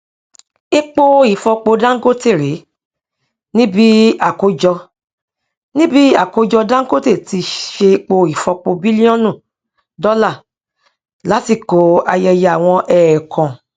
epo ifọpo dangote ré níbí àkójọ níbí àkójọ dangote ti ṣe epo ifọpo bílíọnù dọlà lásìkò àyẹyẹ àwọn ẹẹkan